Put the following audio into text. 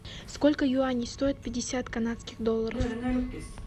сколько юаней стоит пятьдесят канадских долларов